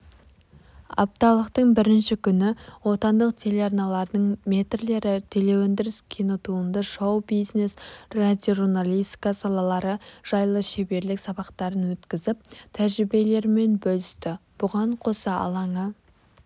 апталықтың бірінші күні отандық телеарналардың мэтрлері телеөндіріс кинотуынды шоу-бизнес радиожурналистика салалары жайлы шеберлік сабақтарын өткізіп тәжірибелерімен бөлісті бұған қоса алаңы